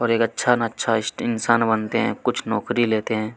और एक अच्छा-अच्छा इंसान बनते हैं कुछ नौकरी लेते हैं।